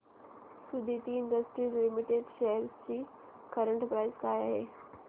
Suditi industries limited shares ची current price काय आहे